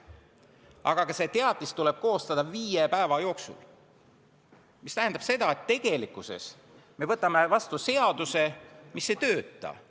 Aga ka see teatis tuleb koostada viie päeva jooksul, mis tähendab seda, et tegelikkuses me võtame vastu seaduse, mis ei tööta.